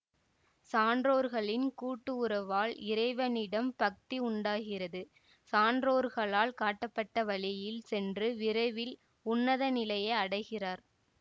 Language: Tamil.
சான்றோர்களின் கூட்டு உறவால் இறைவனிடம் பக்தி உண்டாகிறது சான்றோர்களால் காட்டப்பட்ட வழியில் சென்று விரைவில் உன்னத நிலையை அடைகிறார்